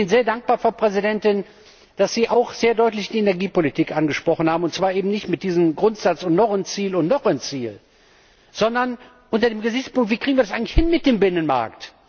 Ich bin Ihnen sehr dankbar, Frau Präsidentin, dass Sie auch sehr deutlich die Energiepolitik angesprochen haben, und zwar eben nicht nach diesem Grundsatz Und noch ein Ziel und noch ein Ziel, sondern unter dem Gesichtspunkt Wie kriegen wir das eigentlich hin mit dem Binnenmarkt?